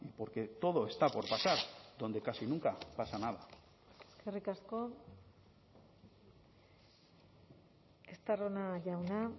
porque todo está por pasar donde casi nunca pasa nada eskerrik asko estarrona jauna